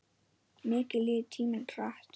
Mikið líður tíminn hratt.